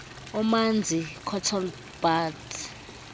omanzi cotton bud